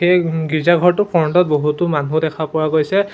এই গীৰ্জাঘৰটোৰ ফ্ৰণ্ট ত বহুতো মানুহ দেখা পোৱা গৈছে।